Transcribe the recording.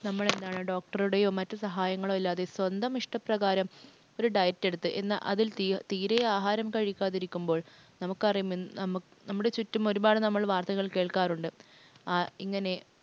വേണ്ടി നമ്മളെന്താണ് doctor യോ മറ്റു സഹായങ്ങളോ ഇല്ലാതെ സ്വന്തം ഇഷ്ടപ്രകാരം ഒരു diet എടുത്ത് എന്നാൽ അതിൽ തീരെ ആഹാരം കഴിക്കാതിരിക്കുമ്പോൾ നമുക്കറിയാം നമ്മുടെ ചുറ്റും ഒരുപാട് വാർത്തകൾ കേൾക്കാറുണ്ട്. ആ ഇങ്ങനെ